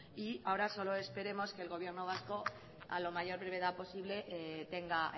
y ahora solo esperemos que el gobierno vasco a la mayor brevedad posible tenga